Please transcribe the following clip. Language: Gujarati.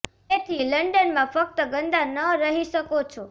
તેથી લન્ડન માં ફક્ત ગંદા ન રહી શકો છો